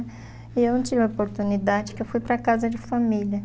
E eu não tive a oportunidade porque eu fui para casa de família.